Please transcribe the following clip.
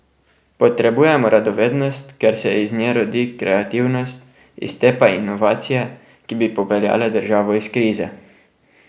Potrebujemo radovednost, ker se iz nje rodi kreativnost, iz te pa inovacije, ki bi popeljale državo iz krize.